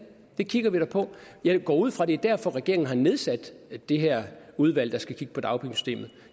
det kigger vi da på jeg går ud fra det er derfor regeringen har nedsat det her udvalg der skal kigge på dagpengesystemet